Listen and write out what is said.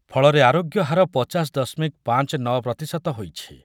ଫଳରେ ଆରୋଗ୍ୟ ହାର ପଚାଶ ଦଶମିକ ପାଞ୍ଚ ନ ପ୍ରତିଶତ ହୋଇଛି ।